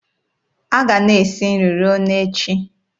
A ga-ana esi nri ruo na echi.